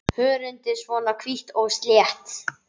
Hörundið svona hvítt og slétt?